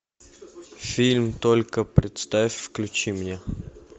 фильм только представь включи мне